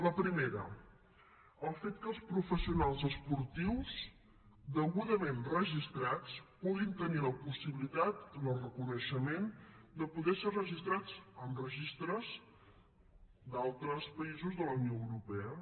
la primera el fet que els professionals esportius degudament registrats puguin tenir la possibilitat el reconeixement de poder ser registrats en registres d’altres països de la unió europa